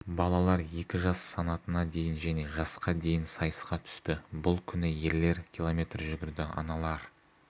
балалар екі жас санатында дейін және жасқа дейін сайысқа түсті бұл күні ерлер км жүгірді аналар